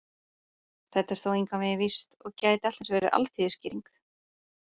Þetta er þó engan veginn víst, og gæti allt eins verið alþýðuskýring.